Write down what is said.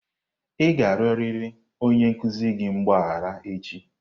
Ị ga-arịọrịrị onye nkuzi gị mgbaghara echi!